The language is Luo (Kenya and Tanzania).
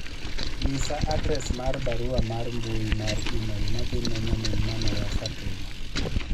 nyisa adres mar barua mar mbui mar email madhi ne nyamin mamawa Fatuma